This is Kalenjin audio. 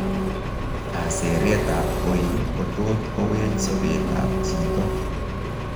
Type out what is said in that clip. Kaseeret ab oil kotot kowech sobeet ab chito